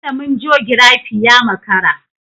Malamin jogirafi ya makara.